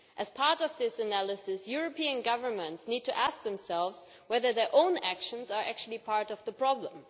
As part of this analysis, European governments need to ask themselves whether their own actions are part of the problem.